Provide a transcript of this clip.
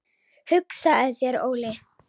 Hugsaðu þér Óli!